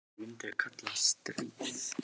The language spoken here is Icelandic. En myndu þau kalla það stríð?